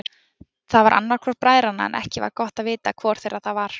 Það var annar hvor bræðranna en ekki var gott að vita hvor þeirra það var.